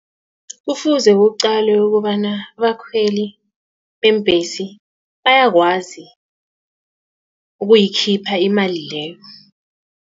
Kufuze kuqalwe ukobana abakhweli beembhesi bayakwazi ukuyikhipha imali leyo.